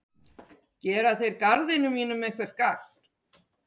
Gera þeir garðinum mínum eitthvert gagn?